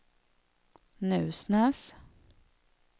Nusnäs